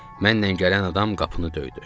Mənlə gələn adam qapını döydü.